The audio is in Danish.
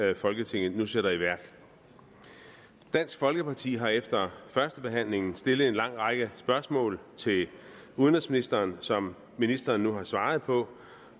det folketinget nu sætter i værk dansk folkeparti har efter førstebehandlingen stillet en lang række spørgsmål til udenrigsministeren som ministeren nu har svaret på